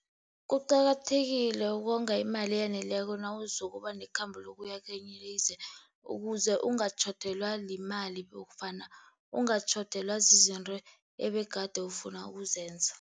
Kuqakathekile ukonga imali eyaneleko nawuzokuba nekhambo lokuya kwelinye ilizwe, ukuze ungatjhodelwa yimali nofana ungatjhodelwa zizinto ebegade ufuna ukuzenza.